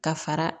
Ka fara